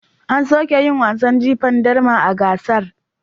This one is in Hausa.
An soke yin wasan jifan darma a gasar.